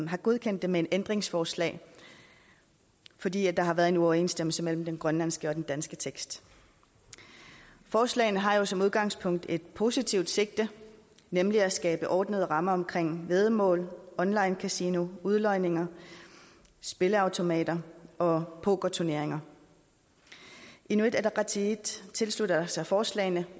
har godkendt dem med ændringsforslag fordi der har været en uoverensstemmelse mellem den grønlandske og den danske tekst forslagene har jo som udgangspunkt et positivt sigte nemlig at skabe ordnede rammer om væddemål online kasino udlodninger spilleautomater og pokerturneringer inuit ataqatigiit tilslutter sig forslagene